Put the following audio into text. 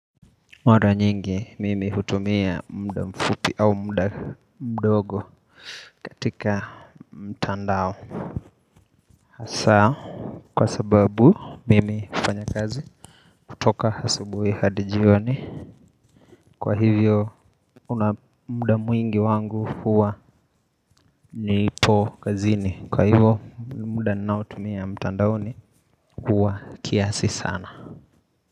Mara nyingi mimi hutumia muda mfupi au muda mdogo katika mtandao sawa kwa sababu mimi hufanya kazi kutoka asubuhi hadi jioni Kwa hivyo kuna muda mwingi wangu huwa nipo kazini Kwa hivyo muda ninautumia mtandaoni huwa kiasi sana.